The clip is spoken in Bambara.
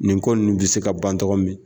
Nin ko ninnu bɛ se ka ban togo min na.